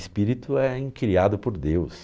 Espírito é criado por Deus.